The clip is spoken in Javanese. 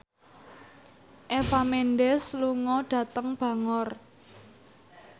Eva Mendes lunga dhateng Bangor